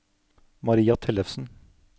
Maria Tellefsen